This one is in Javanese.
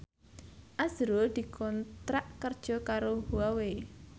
azrul dikontrak kerja karo Huawei